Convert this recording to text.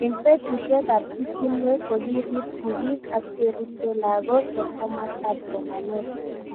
Eng' petushek ab pichinwek ko kirip sigik ak cheripsei lakok eng' komasta ab somanet